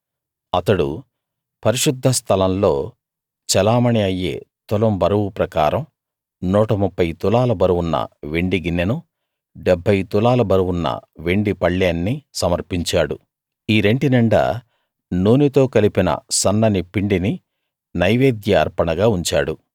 అతడు పరిశుద్ధ స్థలంలో చెలామణీ అయ్యే తులం బరువు ప్రకారం 130 తులాల బరువున్న వెండి గిన్నెనూ 70 తులాల బరువున్న వెండి పళ్ళేన్నీ సమర్పించాడు ఈ రెంటి నిండా నూనెతో కలిపిన సన్నని పిండిని నైవేద్య అర్పణగా ఉంచాడు